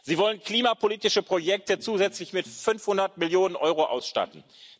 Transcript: Sie wollen klimapolitische Projekte zusätzlich mit 500 Millionen EUR ausstatten.